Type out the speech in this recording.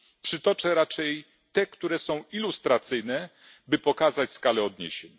Przytoczę raczej te, które są ilustracyjne, by pokazać skalę odniesień.